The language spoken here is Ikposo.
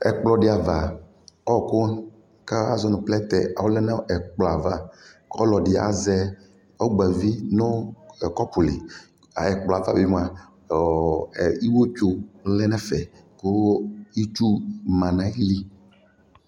Ɛkplɔdiava ɔkʋ kaʒɔ nu plɛtɛ ɔlɛ nu ɛplɔava ɔlɔdɛ azɛ ɔgbavi nu kɔpʋ liƐkplɔava bi mua ɔɔ ɛ ewletso ɔlɛ nɛfɛ